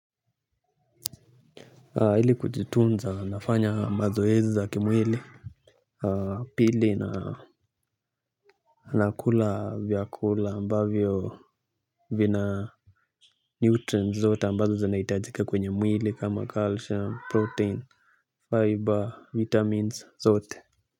Ili kujitunza, nafanya mazoezi za kimwili. Pili na nakula vyakula ambavyo vina Neutrent zote ambazo zinaitajika kwenye mwili kama calcium, protein, fiber, vitamins zote.